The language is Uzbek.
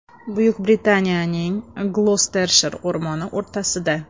Buyuk Britaniyaning Gloctershir o‘rmoni o‘rtasida.